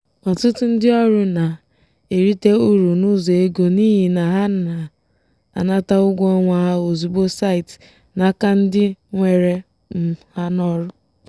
ọtụtụ ndị ọrụ na-erite uru n'ụzọ ego n'ihi na ha na-anata ụgwọ ọnwa ha ozugbo site n'aka ndị were um ha n'ọrụ.